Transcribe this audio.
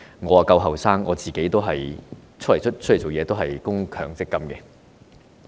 我較年青，投身社會工作以來已供強積金。